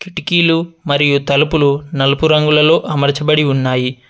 కిటికీలు మరియు తలుపులు నలుపు రంగులలో అమర్చబడి ఉన్నాయి.